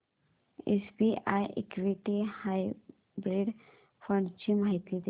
SBI equity hybrid fund ची माहिती दे